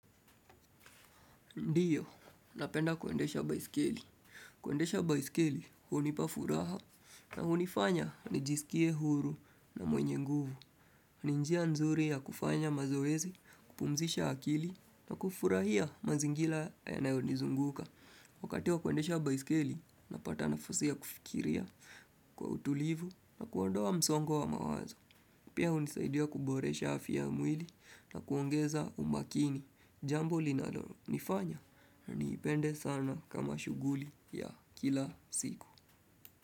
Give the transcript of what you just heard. Ndiyo, napenda kwendesha baiskeli. Kwendesha baiskeli, hunipa furaha na hunifanya nijisikie huru na mwenye nguvu. N injia nzuri ya kufanya mazoezi, kupumzisha akili na kufurahia mazingira yanayo nizunguka. Wakati wa kwendesha baiskeli, napata nafasi kufikiria kwa utulivu na kuondoa msongo wa mawazo. Pia hunisaidia kuboresha hafi ya mwili na kuongeza umakini. Jambo linalo nifanya, niipende sana kama shuguli ya kila siku.